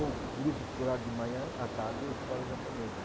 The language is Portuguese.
Ou grupo escolar de manhã, à tarde, escola japonesa.